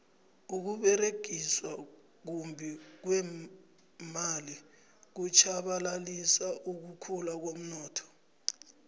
ukuberegiswa kumbi kweemali kutjhabalalisa ukukhula komnotho